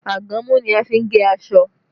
Àgàmú ni a fi n gé aṣọ